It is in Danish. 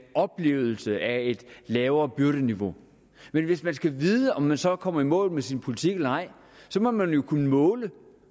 oplevelse af et lavere byrdeniveau men hvis man skal vide om man så er kommet i mål med sin politik eller ej må man jo kunne måle